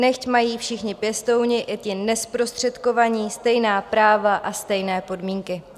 Nechť mají všichni pěstouni, i ti nezprostředkovaní, stejná práva a stejné podmínky.